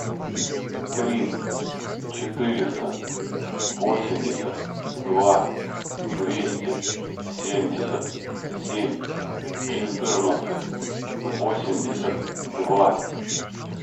три четыреста восемьдесят два двести семьдесят семь четырнадцать восемьдесят два